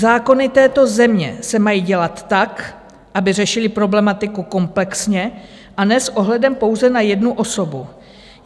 Zákony této země se mají dělat tak, aby řešily problematiku komplexně, a ne s ohledem pouze na jednu osobu.